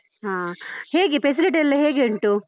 ಹಾ, ಹೇಗೆ facility ಎಲ್ಲ ಹೇಗೆ ಉಂಟು?